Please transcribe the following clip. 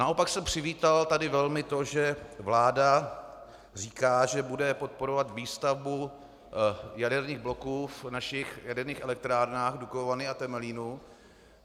Naopak jsem přivítal tady velmi to, že vláda říká, že bude podporovat výstavbu jaderných bloků v našich jaderných elektrárnách Dukovany a Temelín.